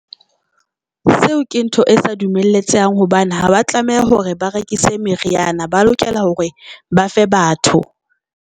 Seo ke ntho e sa dumelletsehang hobane haba tlameha hore ba rekise meriana, ba lokela hore ba fe batho.